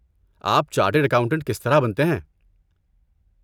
آپ chartered accountant کس طرح بنتے ہیں؟